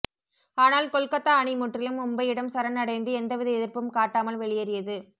ஆனால் கொல்கத்தா அணி முற்றிலும் மும்பையிடம் சரண் அடைந்து எந்தவித எதிர்ப்பும் காட்டாமல் வெளியேறியது